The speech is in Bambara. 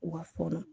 U ka fɔnɔ